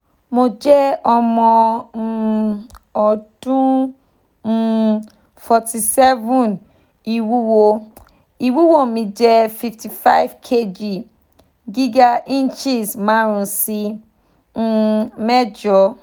mo je omo um odun um forty seven iwuwo iwuwo mi je fifty five kg giga inches marun si um mejo